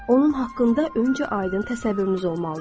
Onun haqqında öncə aydın təsəvvürünüz olmalıdır.